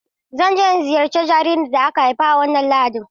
Zan je in ziyarci jaririn da aka haifa a wannan Lahadin.